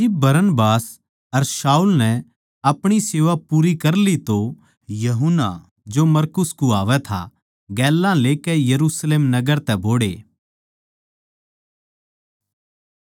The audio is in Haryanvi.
जिब बरनबास अर शाऊल नै अपणी सेवा पूरी कर ली तो यूहन्ना जो मरकुस कुह्वावै था गेल्या लेकै यरुशलेम नगर तै बोह्ड़े